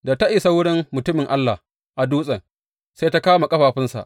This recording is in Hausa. Da ta isa wurin mutumin Allah a dutsen, sai ta kama ƙafafunsa.